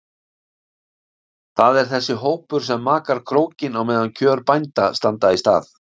Það er þessi hópur sem makar krókinn á meðan kjör bænda standa í stað.